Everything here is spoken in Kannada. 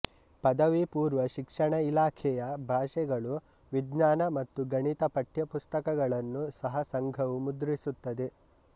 ಪದವಿ ಪೂರ್ವ ಶಿಕ್ಷಣ ಇಲಾಖೆಯ ಭಾಷೆಗಳು ವಿಜ್ಞಾನ ಮತ್ತು ಗಣಿತ ಪಠ್ಯಪುಸ್ತಕಗಳನ್ನು ಸಹ ಸಂಘವು ಮುದ್ರಿಸುತ್ತದೆ